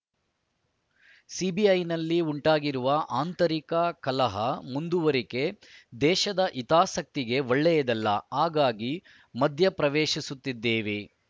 ಸಿಬಿಐನಲ್ಲಿ ಉಂಟಾಗಿರುವ ಆಂತರಿಕ ಕಲಹ ಮುಂದುವರಿಕೆ ದೇಶದ ಹಿತಾಸಕ್ತಿಗೆ ಒಳ್ಳೆಯದಲ್ಲ ಹಾಗಾಗಿ ಮಧ್ಯಪ್ರವೇಶಿಸುತ್ತಿದ್ದೇವೆ